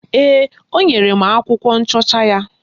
Ee, o nyere m akwụkwọ nchọcha ya